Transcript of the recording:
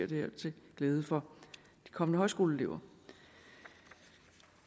det her til glæde for de kommende højskoleelever